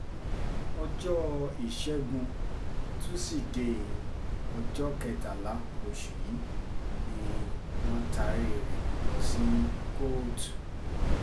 ọjọ́ ìṣègùn tusidee ọjọ́ kẹtàlá oṣù yìí ni wọ́n taari rẹ̀ lọ sí kóòtù